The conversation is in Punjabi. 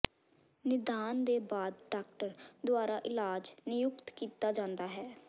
ਨਿਦਾਨ ਦੇ ਬਾਅਦ ਡਾਕਟਰ ਦੁਆਰਾ ਇਲਾਜ ਨਿਯੁਕਤ ਕੀਤਾ ਜਾਂਦਾ ਹੈ